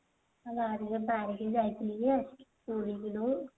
ବାରୀ କୁ ଯାଇଥିଲି ଯେ